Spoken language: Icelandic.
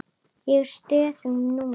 Ég er stöðug núna.